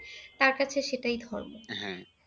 তার কাছে সেটাই ধর্ম।